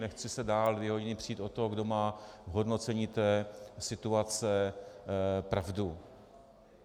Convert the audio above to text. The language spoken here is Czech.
Nechci se dál dvě hodiny přít o to, kdo má v hodnocení té situace pravdu.